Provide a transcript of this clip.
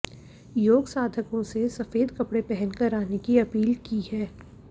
योग साधकों से सफेद कपड़े पहनकर आने की अपील की है